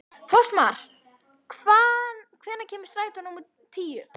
Fossmar, hvenær kemur strætó númer tíu?